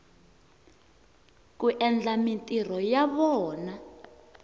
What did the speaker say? ku endla mintirho ya vona